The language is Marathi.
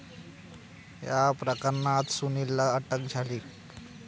या प्रकरणात सुनीलला अटक झाली.